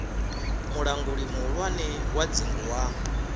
mulanguli muhulwane wa dzingu wa